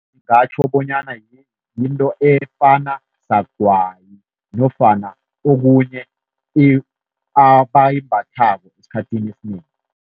Ngingatjho bonyana yinto efana sagwayi nofana okunye abayimbathako esikhathini esinengi.